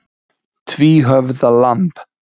Tvíhöfða lamb.